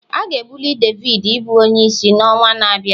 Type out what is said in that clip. A ga-ebuli David ịbụ onyeisi n'ọnwa na-abịa